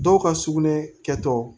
Dɔw ka sugunɛ kɛtɔ